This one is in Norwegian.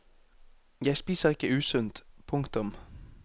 Jeg spiser ikke usunt. punktum